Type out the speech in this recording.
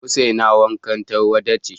husaina wankan tarwada ce